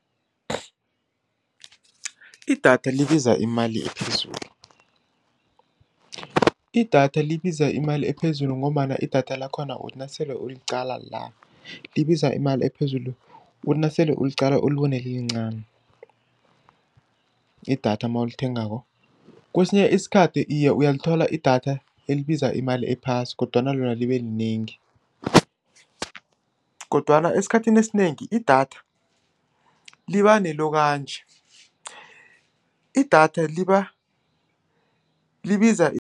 Idatha libiza imali ephezulu, idatha libiza imali ephezulu, ngombana idatha lakhona uthi nasele uliqala la, libiza imali ephezulu, uthi nasele uliqala ulibone lilincani. Idatha nawulithengako, kwesinye isikhathi iye, uyayithola idatha elibiza imali ephasi, kodwana lona libelinengi, kodwana esikhathini esinengi, idatha liba nelokanji, idatha liba libiza